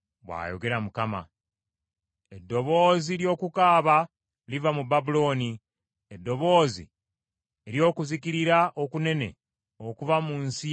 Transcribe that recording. “Eddoboozi ly’okukaaba liva mu Babulooni, eddoboozi ery’okuzikirira okunene okuva mu nsi y’Abakaludaaya.